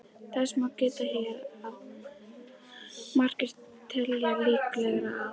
Þess má geta hér að margir telja líklegra að